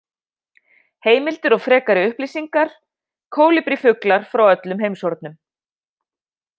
Heimildir og frekari upplýsingar: Kólibrífuglar frá öllum heimshornum.